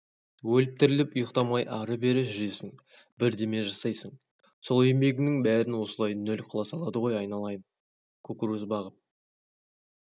өліп-тіріліп ұйықтамай ары-берыжүресің бірдеме жасайсың сол еңбегіңнің бәрін осылай нөл қыла салады ғой айналайын кукуруз бағып